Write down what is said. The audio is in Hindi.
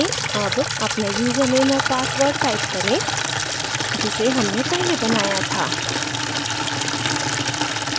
अब अपना user name और password type करें जिसे हमने पहले बनाया था